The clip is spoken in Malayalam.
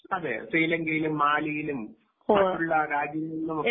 അതെ ശ്രീലങ്കയിലും മാലിയിലും മറ്റുള്ള രാജ്യങ്ങളിലും ഒക്കെ.